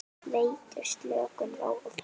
Veitir slökun, ró og frið.